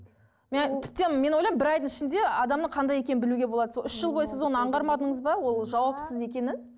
тіптен мен ойлаймын бір айдың ішінде адамның қандай екенін білуге болады сол үш жыл бойы сіз оны аңғармадыңыз ба ол жауапсыз екенін